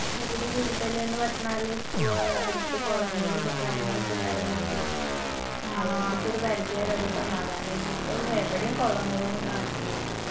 ചൂട് കൂടുതല്ന്ന് പറഞ്ഞാല് പ ഏർ അടുത്ത് കൊളങ്ങളു ഇത് കാര്യങ്ങളു ഒക്കെ ഇണ്ടാവുന്നോണ്ടേ ഒരു പരിധി വരെ അത് സമാധാനേർന്നു ഇപ്പൊ എവിടേം കൊളങ്ങളൊന്നും കാണിണില്ല